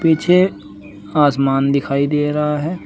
पीछे आसमान दिखाई दे रह है।